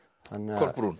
Kolbrún